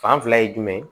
Fan fila ye jumɛn ye